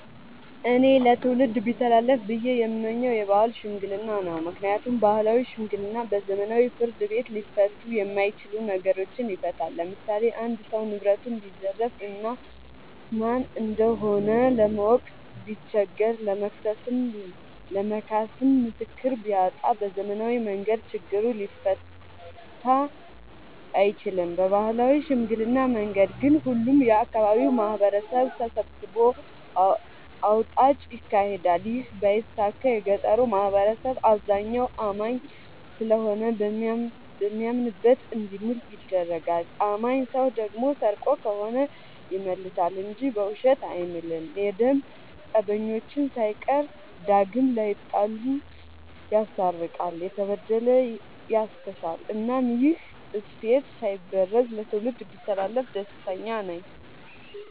እኔ ለትውልድ ቢተላለፍ ብዬ የምመኘው የባህል ሽምግልና ነው። ምክንያቱም ባህላዊ ሽምግልና በዘመናዊ ፍርድ ቤት ሊፈቱ የማይችሉ ነገሮችን ይፈታል። ለምሳሌ አንድ ሰው ንብረቱን ቢዘረፍ እና ማን እንደሆነ ለማወቅ ቢቸገር ለመክሰስም ለመካስም ምስክር ቢያጣ በዘመናዊ መንገድ ችግሩ ሊፈታ አይችልም። በባህላዊ ሽምግልና መንገድ ግን ሁሉም የአካባቢው ማህበረሰብ ተሰብስቦ አውጣጭ ይካሄዳል ይህ ባይሳካ የገጠሩ ማህበረሰብ አብዛኛው አማኝ ስለሆነ በሚያምንበት እንዲምል ይደረጋል። አማኝ ሰው ደግሞ ሰርቆ ከሆነ ይመልሳ እንጂ በውሸት አይምልም። የደም ፀበኞችን ሳይቀር ዳግም ላይጣሉ ይስታርቃል፤ የተበደለ ያስክሳል እናም ይህ እሴት ሳይበረዝ ለትውልድ ቢተላለፍ ደስተኛ ነኝ።